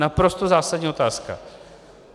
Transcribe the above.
Naprosto zásadní otázka.